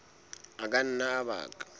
a ka nna a baka